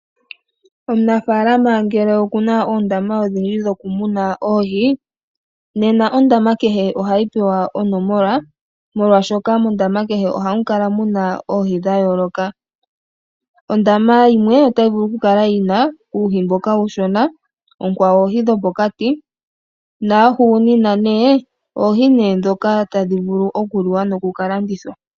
Omunafalama ngele oku na oondama odhindji dhokumuna oohi, nena ondama kehe ohayi pewa onomola. Molwashoka mondama kehe ohamu kala muna oohi dha yooloka. Ondama yimwe otayi vulu okukala yina uuhi mboka uushona, onkwawo oohi dho pokati, noya hugunina nee oohi dhoka hadhi vulu okuliwa nenge oku ka landithwa.